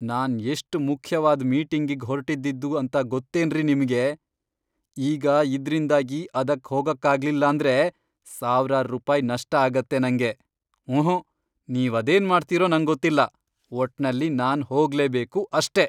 ನಾನ್ ಎಷ್ಟ್ ಮುಖ್ಯವಾದ್ ಮೀಟಿಂಗಿಗ್ ಹೊರ್ಟಿದ್ದಿದ್ದು ಅಂತ ಗೊತ್ತೇನ್ರಿ ನಿಮ್ಗೆ, ಈಗ ಇದ್ರಿಂದಾಗಿ ಅದಕ್ ಹೋಗಕ್ಕಾಗ್ಲಿಲ್ಲಾಂದ್ರೆ ಸಾವ್ರಾರ್ ರುಪಾಯ್ ನಷ್ಟ ಆಗತ್ತೆ ನಂಗೆ! ಊಹುಂ! ನೀವದೇನ್ ಮಾಡ್ತೀರೋ ನಂಗೊತ್ತಿಲ್ಲ, ಒಟ್ನಲ್ಲಿ ನಾನ್ ಹೋಗ್ಲೇಬೇಕು ಅಷ್ಟೇ.